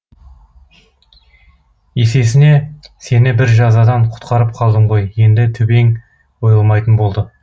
есесіне сені бір жазадан құтқарып қалдым ғой енді төбең ойылмайтын болды